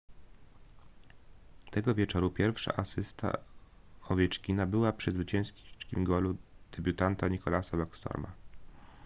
tego wieczoru pierwsza asysta owieczkina była przy zwycięskim golu debiutanta nicklasa backstroma